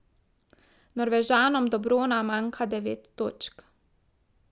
Norvežanom do brona manjka devet točk.